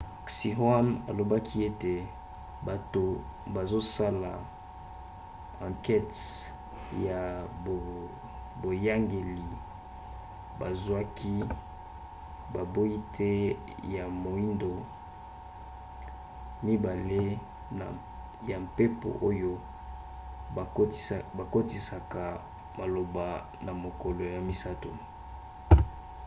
xinhua alobaki ete bato bazosala ankete ya boyangeli bazwaki baboite ya moindo mibale ya mpepo oyo bakotisaka maloba na mokolo ya misato